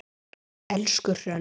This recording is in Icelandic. Elsku Hrönn.